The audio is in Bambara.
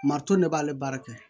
Maritɔn b'ale baara kɛ